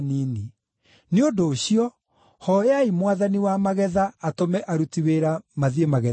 Nĩ ũndũ ũcio, hooyai Mwathani wa magetha atũme aruti wĩra mathiĩ magetha-inĩ make.”